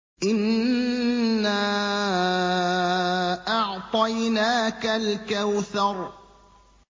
إِنَّا أَعْطَيْنَاكَ الْكَوْثَرَ